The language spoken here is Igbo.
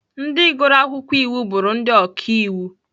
Ndị gụrụ akwụkwọ iwu, bụrụ ndị ọka iwu.